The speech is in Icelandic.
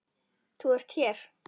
Ert þú hér!